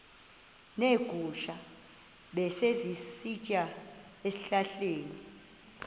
neegusha ebezisitya ezihlahleni